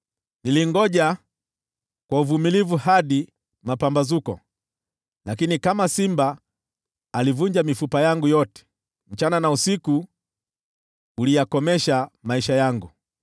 Nilingoja kwa uvumilivu hadi mapambazuko, lakini alivunja mifupa yangu yote kama simba. Mchana na usiku uliyakomesha maisha yangu.